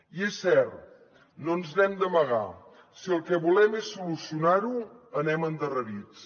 i és cert no ens n’hem d’amagar si el que volem és solucionar ho anem endarrerits